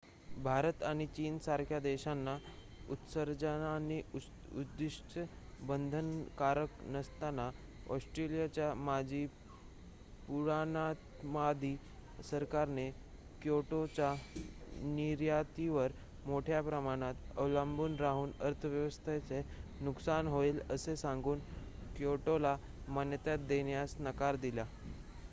भारत आणि चीनसारख्या देशांना उत्सर्जनाची उद्दिष्ट्ये बंधनकारक नसताना ऑस्ट्रेलियाच्या माजी पुराणमतवादी सरकारने क्योटोच्या निर्यातीवर मोठ्या प्रमाणात अवलंबून राहून अर्थव्यवस्थेचे नुकसान होईल असे सांगून क्योटोला मान्यता देण्यास नकार दिला